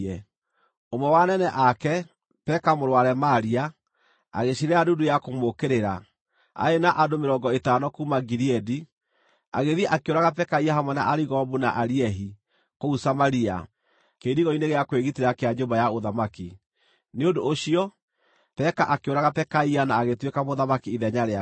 Ũmwe wa anene ake, Peka mũrũ wa Remalia, agĩciirĩra ndundu ya kũmũũkĩrĩra. Arĩ na andũ mĩrongo ĩtano kuuma Gileadi, agĩthiĩ, akĩũraga Pekaia hamwe na Arigobu na Ariehi, kũu Samaria, kĩirigo-inĩ gĩa kwĩgitĩra kĩa nyũmba ya ũthamaki. Nĩ ũndũ ũcio, Peka akĩũraga Pekaia na agĩtuĩka mũthamaki ithenya rĩake.